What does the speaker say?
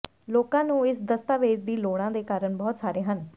ਲੋਕਾਂ ਨੂੰ ਇਸ ਦਸਤਾਵੇਜ਼ ਦੀ ਲੋੜਾਂ ਦੇ ਕਾਰਨ ਬਹੁਤ ਸਾਰੇ ਹਨ